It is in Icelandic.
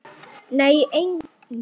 Nei, enginn